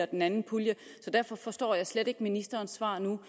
den anden pulje så derfor forstår jeg slet ikke ministerens svar nu